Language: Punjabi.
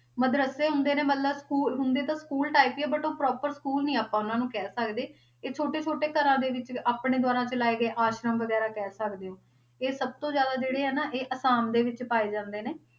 ਮਦਰੱਸੇ ਹੁੰਦੇ ਨੇ ਮਤਲਬ schoo~ ਹੁੰਦੇ ਤਾਂ school type ਹੀ ਆ but ਉਹ properschool ਨੀ ਆਪਾਂ ਉਹਨਾਂ ਨੂੰ ਕਹਿ ਸਕਦੇ, ਇਹ ਛੋਟੇ ਛੋਟੇ ਘਰਾਂ ਦੇ ਵਿੱਚ ਆਪਣੇ ਦੁਆਰਾ ਚਲਾਏ ਗਏ ਆਸ਼ਰਮ ਵਗ਼ੈਰਾ ਕਹਿ ਸਕਦੇ ਹੋ, ਇਹ ਸਭ ਤੋਂ ਜ਼ਿਆਦਾ ਜਿਹੜੇ ਆ ਨਾ ਇਹ ਆਸਾਮ ਦੇ ਵਿੱਚ ਪਾਏ ਜਾਂਦੇ ਨੇ